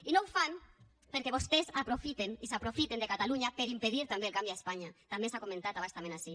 i no ho fan perquè vostès aprofiten i s’aprofiten de catalunya per impedir també el canvi a espanya també s’ha comentat a bastament ací